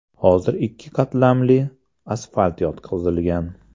Hozir ikki qatlamli asfalt yotqizilgan.